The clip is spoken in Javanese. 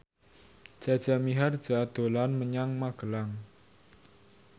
Jaja Mihardja dolan menyang Magelang